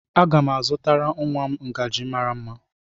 a ga m azụtara nwa m ngaji mara mma